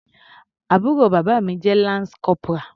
Àbúrò bàbá mi jẹ́ lance corporal.